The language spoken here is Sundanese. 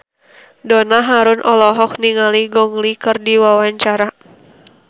Donna Harun olohok ningali Gong Li keur diwawancara